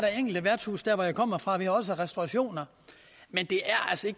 enkelte værtshuse der hvor jeg kommer fra og restaurationer